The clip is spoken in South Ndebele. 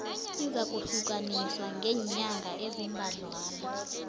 izakuhlukaniswa ngeenyanga eziimbadlwana